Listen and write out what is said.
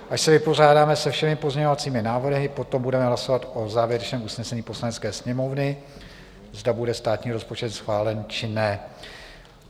Až se vypořádáme se všemi pozměňovacími návrhy, potom budeme hlasovat o závěrečném usnesení Poslanecké sněmovny, zda bude státní rozpočet schválen, či ne.